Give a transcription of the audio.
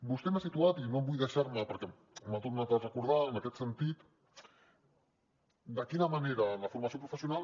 vostè m’ha situat i no vull deixar m’ho perquè m’ho ha tornat a recordar en aquest sentit de quina manera la formació professional